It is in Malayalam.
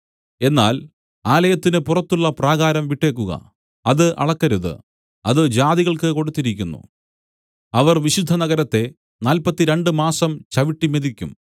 എന്നാൽ ആലയത്തിന് പുറത്തുള്ള പ്രാകാരം വിട്ടേക്കുക അത് അളക്കരുത് അത് ജാതികൾക്ക് കൊടുത്തിരിക്കുന്നു അവർ വിശുദ്ധനഗരത്തെ നാല്പത്തിരണ്ട് മാസം ചവിട്ടി മെതിക്കും